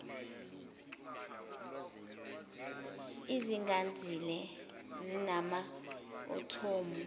ezingazinzile ezinama athomu